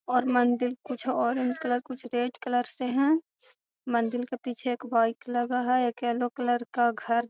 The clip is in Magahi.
और मंदिल कुछ औरेंज कलर कुछ रेड कलर से हैं मन्दिल के पीछे एक बाइक लगा है एक येलो कलर का घर --